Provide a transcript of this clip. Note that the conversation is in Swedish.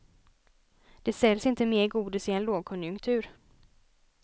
Det säljs inte mer godis i en lågkonjunktur.